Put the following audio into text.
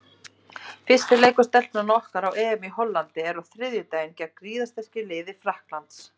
Fyrsti leikur Stelpnanna okkar á EM í Hollandi er á þriðjudaginn gegn gríðarsterku liði Frakklands.